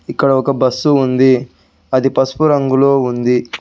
ఇక్కడ ఒక బస్సు ఉంది అది పసుపు రంగులో ఉంది.